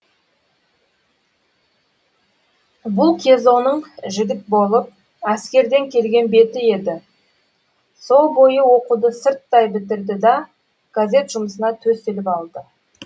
бұл кезоның жігіт болып әскерден келген беті еді со бойы оқуды сырттай бітірді да газет жұмысына төселіп алды